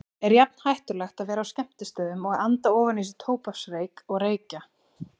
Er jafn hættulegt að vera á skemmtistöðum og anda ofan í sig tóbaksreyk og reykja?